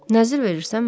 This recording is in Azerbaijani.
Nəzir verirsən mənə?